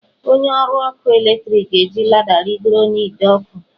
Onye ọrụ ọkụ eletrik ga-eji lada rịgoro n'ide ọkụ.